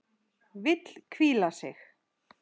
Vill hvíla sig.